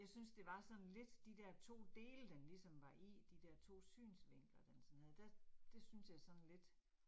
Jeg synes det var sådan lidt, de der 2 dele den ligesom var i, de der 2 synsvinkler, den sådan havde, der det synes jeg sådan lidt